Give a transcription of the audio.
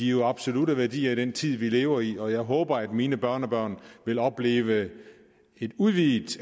jo absolutte værdier i den tid vi lever i og jeg håber at mine børnebørn vil opleve et udvidet